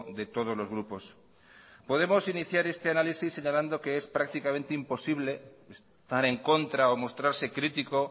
de todos los grupos podemos iniciar este análisis señalando que es prácticamente imposible estar en contra o mostrarse crítico